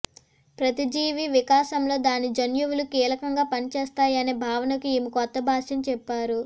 ప్రతిజీవి వికాసంలో దాని జన్యువులు కీలకంగా పనిచేస్తాయనే భావనకు ఈమె కొత్త భాష్యం చెప్పారు